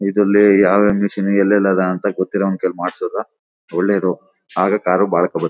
ಇದರಲ್ಲಿ ಯಾವ ಯಾವ ಮಿಶಿನ್ ಏಳೇಳ್ ಅದ ಅಂತ ಗೊತ್ತಿರವ್ನ್ ಕೈಯಲಿ ಮಾಡ್ಸೋದು ಒಳ್ಳೇದು ಆಗ ಕಾರ್ ಬಾಳೇಕೆ.